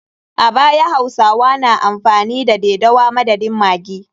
A baya, hausawa na amfani da dadewa madadin maggi.